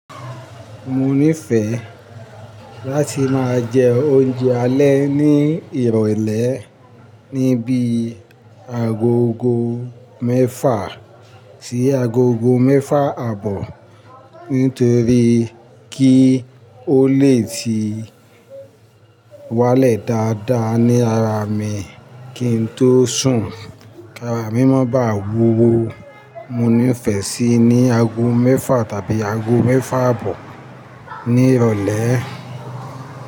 Mo nífẹ̀ẹ́ láti máa jẹ oúnjẹ alẹ́ ní ìrọ̀lẹ́ ní bí agogo mẹ́fà sí agogo mẹ́fà àbọ̀ nítorí kí ó lè ti wálẹ̀ dáadáa ní ara mi kín n tó sùn. Kára mí mọ́ bá wuwo, mo nífẹ̀ẹ́ síi ní ago mẹ́fà tàbí ago mẹ́fà àbọ̀ ní ìrọ̀lẹ́.